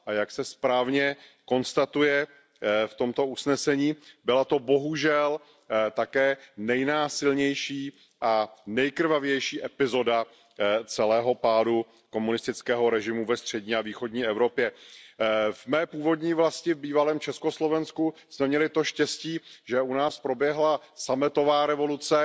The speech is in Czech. Jak se správně konstatuje v tomto usnesení, byla to bohužel také nejnásilnější a nejkrvavější epizoda celého pádu komunistického režimu ve střední a východní Evropě. V mé původní vlasti, v bývalém Československu, jsme měli to štěstí, že u nás proběhla sametová revoluce,